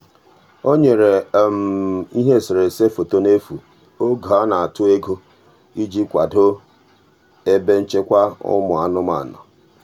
o nyere ihe eserese foto n'efu oge a na-atụ ego iji kwado ebe nchekwa ụmụ anụmanụ.